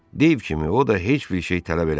Dave kimi o da heç bir şey tələb eləmirdi.